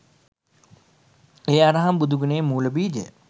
ඒ අරහං බුදුගුණයේ මූල බීජ